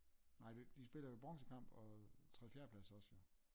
Nej de spiller jo bronzekamp og tredje fjerde plads også jo